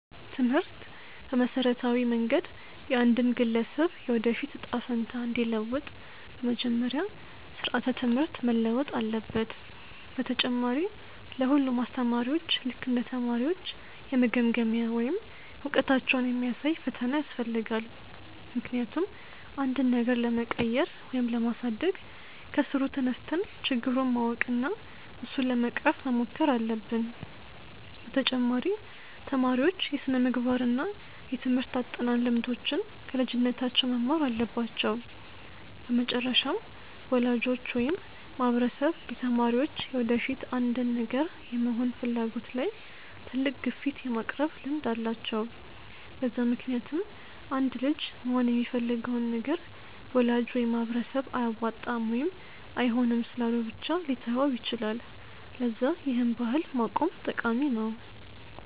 ትምህርት በመሠረታዊ መንገድ የአንድን ግለሰብ የወደፊት እጣ ፈንታ እንዲለውጥ፤ በመጀመሪያ ስራዓተ ትምህርት መለወጥ አለበት፣ በተጨማሪ ለ ሁሉም አስተማሪዎች ልክ እንደ ተማሪዎች የመገምገሚያ ወይም እውቀታቸውን የሚያሳይ ፈተና ያስፈልጋል፤ ምክንያቱም አንድን ነገር ለመቀየር ወይም ለማሳደግ ከስሩ ተነስተን ችግሩን ማወቅ እና እሱን ለመቅረፍ መሞከር አለብን፤ በተጨማሪ ተማሪዎች የስነምግባር እና የትምርህት አጠናን ልምዶችን ከልጅነታቸው መማር አለባቸው፤ በመጨረሻም ወላጆች ወይም ማህበረሰብ የተማሪዎች የወደፊት አንድን ነገር የመሆን ፍላጎት ላይ ትልቅ ግፊት የማቅረብ ልምድ አላቸው፤ በዛ ምክንያትም አንድ ልጅ መሆን የሚፈልገውን ነገር ወላጅ ወይም ማህበረሰብ አያዋጣም ወይም አይሆንም ስላሉ ብቻ ሊተወው ይችላል፤ ለዛ ይህን ባህል ማቆም ጠቃሚ ነው።